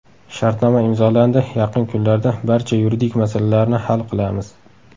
Shartnoma imzolandi, yaqin kunlarda barcha yuridik masalalarni hal qilamiz.